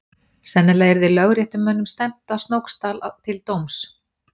Sennilega yrði lögréttumönnum stefnt að Snóksdal til dóms.